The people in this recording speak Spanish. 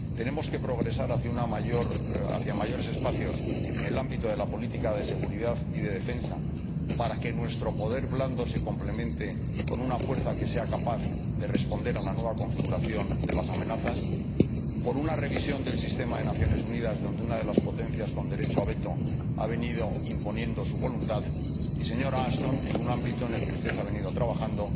tenemos que progresar hacia mayores espacios en el ámbito de la política de seguridad y defensa para que nuestro poder blando se complemente con una fuerza que sea capaz de responder a una nueva configuración de las amenazas tenemos que trabajar por una revisión del sistema de las Naciones Unidas, en el que una de las potencias con derecho a veto ha venido imponiendo su voluntad, y, señora Ashton, en un ámbito en el que usted ha venido trabajando